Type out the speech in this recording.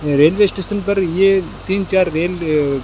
railway station पर ये तीन चार रेल --